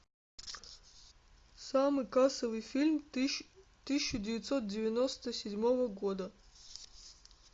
самый кассовый фильм тысяча девятьсот девяносто седьмого года